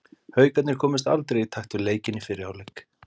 Haukarnir komust aldrei í takt við leikinn í fyrri hálfleik.